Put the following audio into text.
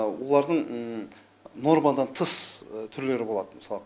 олардың нормадан тыс түрлері болады мысалы